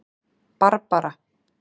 Barbara